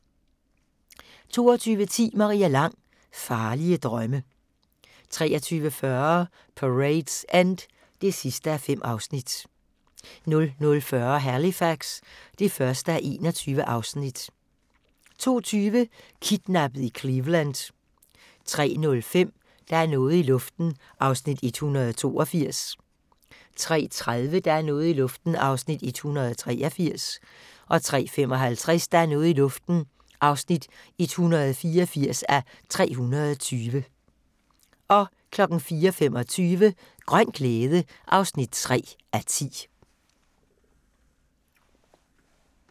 22:10: Maria Lang: Farlige drømme 23:40: Parade's End (5:5) 00:40: Halifax (1:21) 02:20: Kidnappet i Cleveland 03:05: Der er noget i luften (182:320) 03:30: Der er noget i luften (183:320) 03:55: Der er noget i luften (184:320) 04:25: Grøn glæde (3:10)